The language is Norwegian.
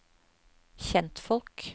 kjentfolk